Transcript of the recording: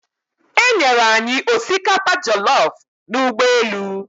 E nyere anyị osikapa jollofu n'ụgbọelu.